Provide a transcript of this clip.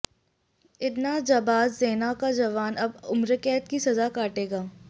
इतना जाबाज सेना का जवान अब उम्रकैद की सजा काटेगा